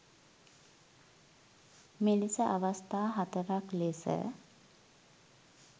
මෙලෙස අවස්ථා හතරක් ලෙස